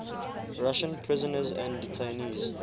russian prisoners and detainees